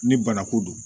Ni bana ko don